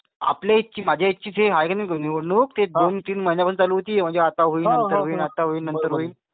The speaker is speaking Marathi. आपल्या इथली म्हणजे माझ्या इथे ची आहे ना निवडणूक ती दोन तीन महिन्यांपासून चालू होती. आता होईल नंतर होईल. आता होईल नंतर होईल.